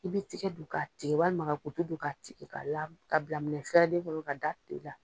I bi tigɛ don k'a tigɛ walima ka kutu don k'a tigɛ, ka la ka bila minɛ fɛɛrɛlen kɔnɔ ka da kile la.